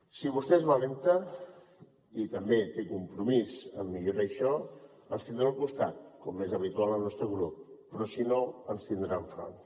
si vostè és valenta i també té compromís per millorar això ens tindrà al costat com és habitual al nostre grup però si no ens tindrà enfront